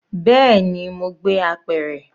Bẹẹni, mo gbé apẹ̀rẹ̀.